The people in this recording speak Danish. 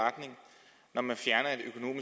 at man siger